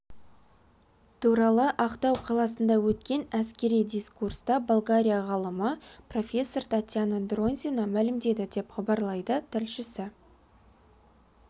туралы ақтау қаласында өткен әскери дискурста болгария ғалымы профессор татьяна дронзина мәлімдеді деп хабарлайды тілшісі